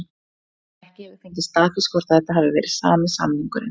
Ekki hefur fengist staðfest hvort að þetta hafi verið sami samningurinn.